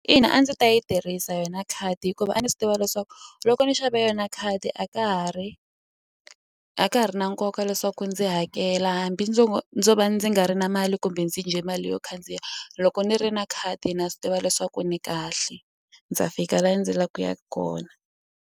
Ina a ndzi ta yi tirhisa yona khadi hikuva a ni swi tiva leswaku loko ni xava yona khadi a ka ha ri a ka ha ri na nkoka leswaku ndzi hakela hambi ndzo ndzo va ndzi nga ri na mali kumbe ndzi dye mali yo khandziya loko ni ri na khadi na swi tiva leswaku ni kahle ndza fika la ndzi la ku ya kona.